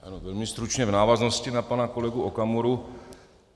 Velmi stručně v návaznosti na pana kolegu Okamuru.